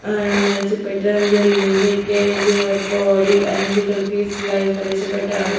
And I see పెట్టడం జరిగింది care your body అనేసి ఇక్కడ పీస్ లైఫ్ అనేసి పెట్టారు.